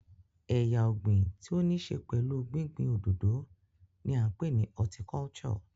Ẹ̀yà ọ̀gìn tí ó ní ṣe pẹ̀lú gbín gbín òdòdó ni à ń pè ní horticulture.